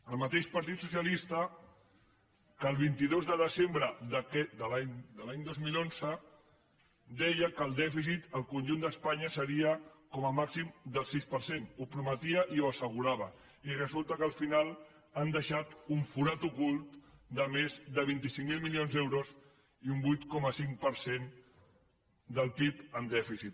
el mateix partit socialista que el vint dos de desembre de l’any dos mil onze deia que el dèficit al conjunt d’espanya seria com a màxim del sis per cent ho prometia i ho assegurava i resulta que al final han deixat un forat ocult de més de vint cinc mil milions d’euros i un vuit coma cinc per cent del pib en dèficit